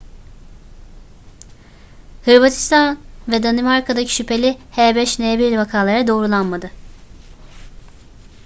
hırvatistan ve danimarka'daki şüpheli h5n1 vakaları doğrulanmadı